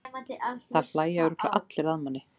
Það hlæja örugglega allir að manni.